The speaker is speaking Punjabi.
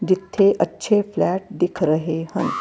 ਇਥੇ ਅੱਛੇ ਫਲੈਟ ਦਿਖ ਰਹੇ ਹਨ।